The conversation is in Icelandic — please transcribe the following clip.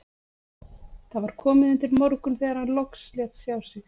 Það var komið undir morgun þegar hann loks lét sjá sig.